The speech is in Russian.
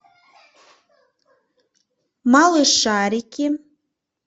малышарики